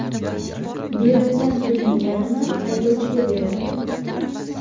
Berilgan pulning yarmi haydovchiga beriladi.